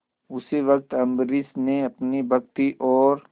उसी वक्त अम्बरीश ने अपनी भक्ति और